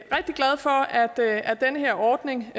den her ordning